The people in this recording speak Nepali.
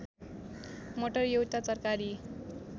मटर एउटा तरकारी